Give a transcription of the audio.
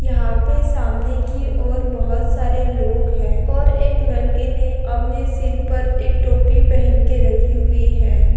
यहांपे सामने की ओर बहुत सारे लोग हैं और एक लड़के ने अपने सिर पर एक टोपी पहन के रखी है।